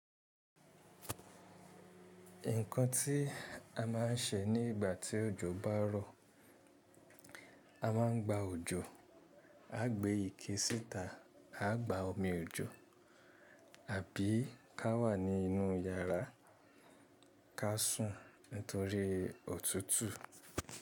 Nǹkan tí a máa ń ṣe ní ìgbà tí òjò bá rọ̀, a máa ń gba òjò, a gbé ike síta, a gba omi òjò, àbí ká wà nínú iyàrá, ká sùn nítorí òtútù.